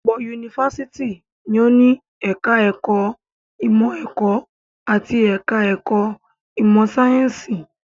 Ọ̀pọ̀ yunifásitì ni ó ní ẹ̀ka-ẹ̀kọ́ ìmọ̀-ẹ̀kọ́ àti ẹ̀ka-ẹ̀kọ́ ìmọ̀-sáyẹ́ńsì.